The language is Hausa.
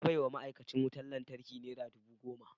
Na baiwa ma’aikacin wutar lantarki nera dubu goma.